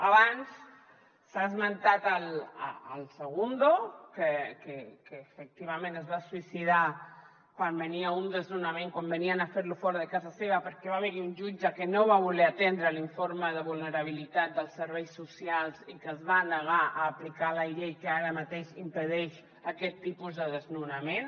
abans s’ha esmentat el segundo que efectivament es va suïcidar quan venia un desnonament quan venien a fer lo fora de casa seva perquè va haver hi un jutge que no va voler atendre l’informe de vulnerabilitat dels serveis socials i que es va negar a aplicar la llei que ara mateix impedeix aquest tipus de desnonament